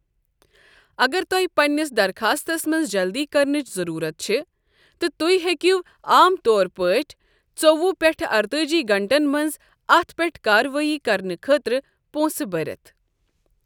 اگر تۄ ہہِ پننِس دَرٛخاستس منٛز جلدی کرنٕچ ضروٗرَت چھِ، تہِ تہۍ ہیکٮ۪و عام طور پٲٹھۍ ژووُہ پٮ۪ٹھ ارتأجی گھنٹن منٛز اتھ پٮ۪ٹھ کارروٲئی کرنہٕ خٲطرٕ پونٛسہٕ بٔرِتھ۔ ۔